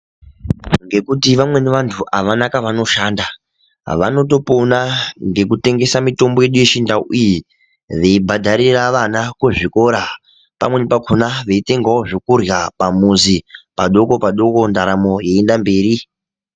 Ngekuti vamweni vantu avana kavanoshanda, vanotopona ngekutengesa mitombo yedu yechindau iyi, veibhadharira vana kuzvikora pamweni pakhona veitengawo zvokurya pamuzi padoko-padoko ndaramo yeienda mberi.